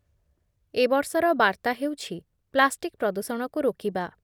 ଏ ବର୍ଷର ବାର୍ତ୍ତା ହେଉଛି ପ୍ଲାଷ୍ଟିକ୍ ପ୍ରଦୂଷଣକୁ ରୋକିବା।